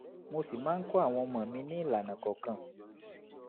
mo sì máa ń kọ́ àwọn ọmọ mi ní ìlànà kọ̀ọ̀kan